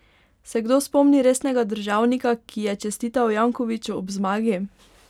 Se kdo spomni resnega državnika, ki je čestital Jankoviću ob zmagi?